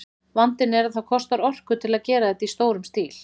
Vandinn er að það kostar orku að gera þetta í stórum stíl.